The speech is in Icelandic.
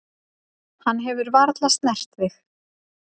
Hann hefur varla snert þig.